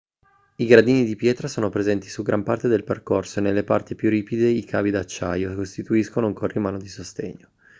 i gradini di pietra sono presenti su gran parte del percorso e nelle parti più ripide i cavi d'acciaio costituiscono un corrimano di sostegno